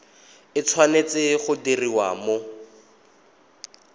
e tshwanetse go diriwa mo